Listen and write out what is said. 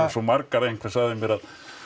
svo margar að einhver sagði mér að